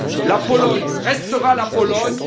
La Pologne restera la Pologne.